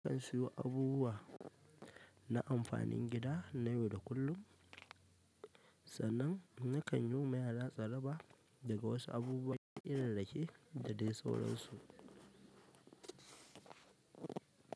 Zan siyo abubuwa na amfanin gida na yau da kullum. Sannan nakan yo ma yara tsaraba da waƴansu abubuwan irinsu rake da dai sauransu.